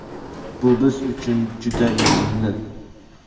Bu biz uchun juda yoqimli!